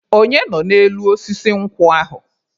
Onye nọ n'elu osisi nkwụ ahụ?